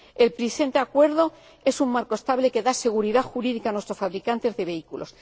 El presente acuerdo es un marco estable, que da seguridad jurídica a nuestros fabricantes de vehículos.